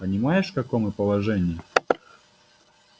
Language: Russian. понимаешь в каком мы положении